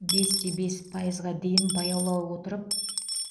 бес те бес пайызға дейін баяулай отырып